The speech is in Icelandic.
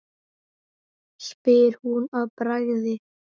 spyr hún að bragði.